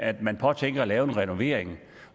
at man påtænker at lave en renovering